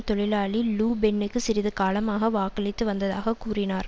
தொழிலாளி லு பென்னுக்கு சிறிது காலமாக வாக்களித்து வந்ததாக கூறினார்